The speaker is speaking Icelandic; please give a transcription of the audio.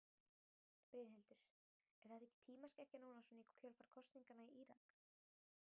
Brynhildur: Er þetta ekki tímaskekkja núna svona í kjölfar kosninganna í Írak?